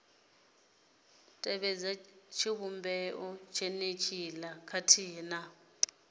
tevhedza tshivhumbeo tshenetshiḽa khathihi na